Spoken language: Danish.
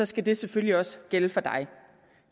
skal det selvfølgelig også gælde for dig